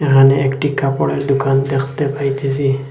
এখানে একটি কাপড়ের দুকান দেখতে পাইতেসি।